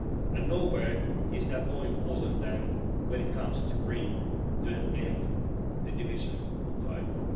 And nowhere is that more important than when it comes to bringing to an end the division of the island.